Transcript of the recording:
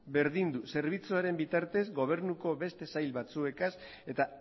berdindu zerbitzuaren bitartez gobernuko beste sail batzuekaz eta